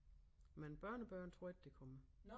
Men børnebørn tror jeg ikke der kommer